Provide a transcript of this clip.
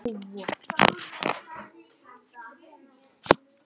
Hugrún: Ekki komnir með nóg?